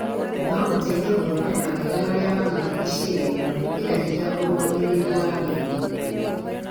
no gũteithie gũthondeka wega marĩa mamarigicĩirie na gwĩkĩra hinya ũrũgamĩrĩri wa mĩrimũ.